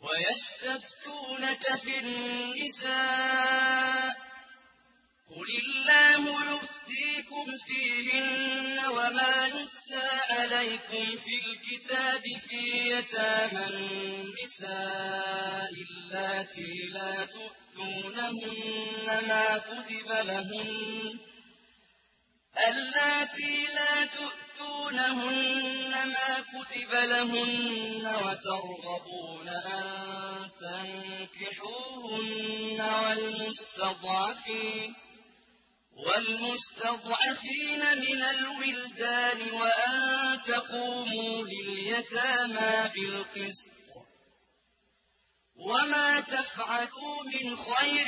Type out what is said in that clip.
وَيَسْتَفْتُونَكَ فِي النِّسَاءِ ۖ قُلِ اللَّهُ يُفْتِيكُمْ فِيهِنَّ وَمَا يُتْلَىٰ عَلَيْكُمْ فِي الْكِتَابِ فِي يَتَامَى النِّسَاءِ اللَّاتِي لَا تُؤْتُونَهُنَّ مَا كُتِبَ لَهُنَّ وَتَرْغَبُونَ أَن تَنكِحُوهُنَّ وَالْمُسْتَضْعَفِينَ مِنَ الْوِلْدَانِ وَأَن تَقُومُوا لِلْيَتَامَىٰ بِالْقِسْطِ ۚ وَمَا تَفْعَلُوا مِنْ خَيْرٍ